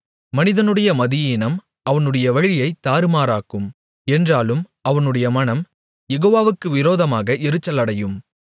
மனிதனுடைய மதியீனம் அவனுடைய வழியைத் தாறுமாறாக்கும் என்றாலும் அவனுடைய மனம் யெகோவாவுக்கு விரோதமாக எரிச்சலடையும்